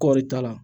Kɔɔri t'a la